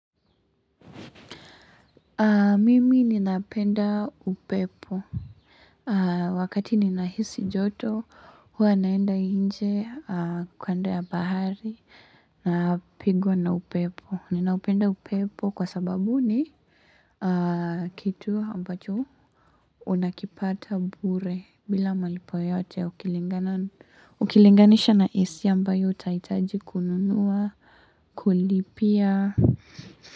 Mimi ninapenda upepo Wakati ninahisi joto huwa naenda nje kando ya bahari na pigwa na upepo. Ninaupenda upepo kwa sababu ni kitu ambacho unakipata bure bila malipo yoyote ukilinganisha na AC ambayo utahitaji kununuwa kulipia.